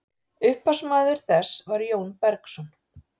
upphafsmaður þess var jón bergsson